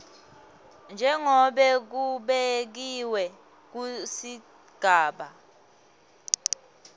njengobe kubekiwe kusigaba